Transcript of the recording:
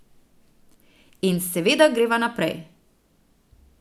In seveda greva naprej.